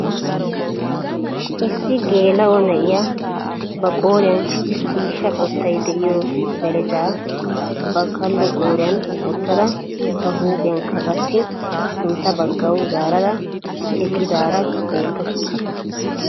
Issi geela'o na'iyaa ba qooriyaan ciishsha qoottay de'iyoo belecaa ba kaallo qooriyaan woottada ba huuphphiyaakka qassi sintta baggawu zaarada eqqidaara beettawus.